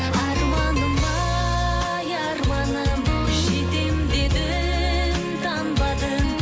арманым ай арманым жетем дедің танбадың